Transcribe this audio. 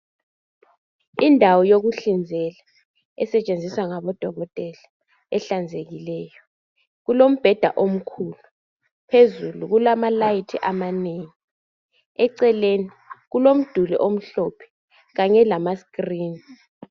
Indawo yokuhlinzela, esetshenziswa ngabodokotela, ehlanzekileyo. Kulombheda omkhulu, phezulu kulamalayithi amanengi. Eceleni kulomduli omhlophe, kanye lamasitilini.